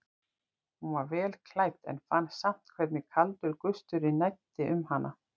Hún var vel klædd en fann samt hvernig kaldur gusturinn næddi um hana.